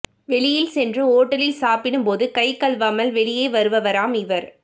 வெளியில் சென்று ஓட்டலில் சாப்பிடும் போது கை கழுவாமல் வெளிவருவாராம் இவர்